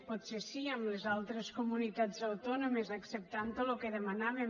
potser sí amb les altres comunitats autònomes acceptant tot el que demanaven